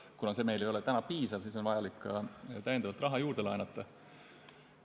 Kuna see ei ole piisav, siis on vaja täiendavalt raha juurde laenata.